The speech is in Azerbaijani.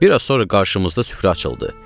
Bir az sonra qarşımızda süfrə açıldı.